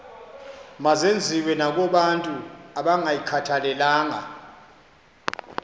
mazenziwe nakobantu abangayikhathalelanga